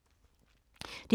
DR2